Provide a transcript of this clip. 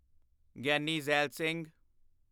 Giani Zail Singh